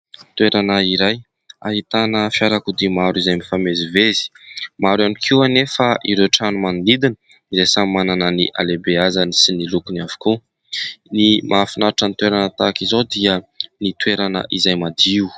Toerana iray ahitana fiarakodia maro izay mifamezivezy. Maro ihany koa anefa ireo trano manodidina izay samy manana ny halehibeazany sy ny lokony avokoa. Ny mahafinaritra ny toerana tahaka izao dia ny toerana izay madio.